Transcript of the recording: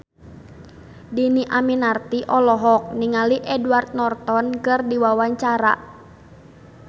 Dhini Aminarti olohok ningali Edward Norton keur diwawancara